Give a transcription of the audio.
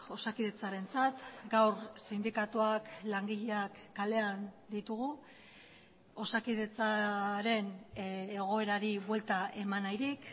osakidetzarentzat gaur sindikatuak langileak kalean ditugu osakidetzaren egoerari buelta eman nahirik